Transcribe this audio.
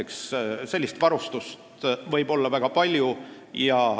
Sellist varustust võib olla väga palju.